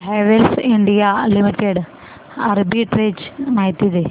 Havells India limited arbitrage माहिती दे